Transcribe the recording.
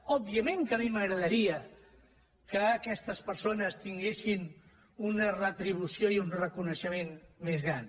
òbviament que a mi m’agradaria que aquestes persones tinguessin una retribució i un reconeixement més gran